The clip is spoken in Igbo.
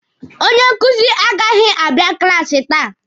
Onye nkuzi agaghị abịa klaasi taa.